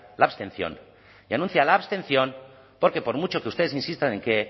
la abstención y anuncia la abstención porque por mucho que ustedes insistan en que